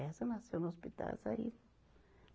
Essa nasceu no hospital, essa aí.